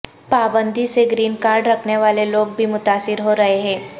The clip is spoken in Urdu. پابندی سے گرین کارڈ رکھنے والے لوگ بھی متاثر ہو رہے ہیں